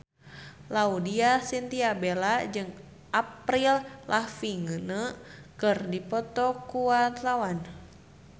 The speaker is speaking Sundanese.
Laudya Chintya Bella jeung Avril Lavigne keur dipoto ku wartawan